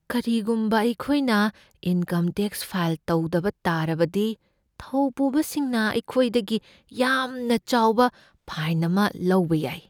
ꯀꯔꯤꯒꯨꯝꯕ ꯑꯩꯈꯣꯏꯅ income tax file ꯇꯧꯗꯕ ꯇꯥꯔꯕꯗꯤ, ꯊꯧꯄꯨꯕꯁꯤꯡꯅ ꯑꯩꯈꯣꯏꯗꯒꯤ ꯌꯥꯝꯅ ꯆꯥꯎꯕ ꯐꯥꯏꯟ ꯑꯃ ꯂꯧꯕ ꯌꯥꯏ꯫